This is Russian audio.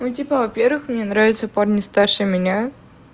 ну типа во-первых мне нравятся парни старше меня